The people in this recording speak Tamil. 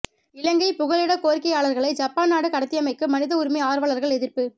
இலங்கைப் புகலிடக் கோரிக்கையாளர்களை ஜப்பான் நாடு கடத்தியமைக்கு மனித உரிமை ஆர்வலர்கள் எதிர்ப்பு